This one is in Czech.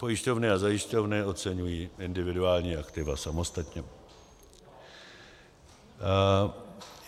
Pojišťovny a zajišťovny oceňují individuální aktiva samostatně.